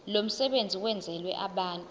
lomsebenzi wenzelwe abantu